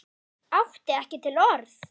Átti ekki til orð.